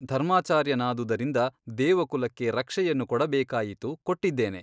ಧರ್ಮಾಚಾರ್ಯನಾದುದರಿಂದ ದೇವಕುಲಕ್ಕೆ ರಕ್ಷೆಯನ್ನು ಕೊಡಬೇಕಾಯಿತು ಕೊಟ್ಟಿದ್ದೇನೆ.